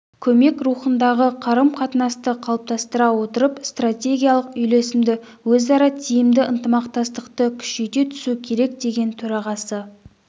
көмек рухындағы қарым-қатынасты қалыптастыра отырып стратегиялық үйлесімді өзара тиімді ынтымақтастықты күшейте түсу керек деген төрағасы